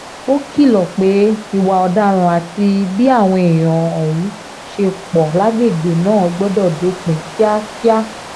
ó kìlọ̀ pé ìwà ọ̀daràn àti bí àwọn èèyàn ọ̀hún ṣe pọ̀ lágbègbè náà gbọ́dọ̀ dópin kíákíá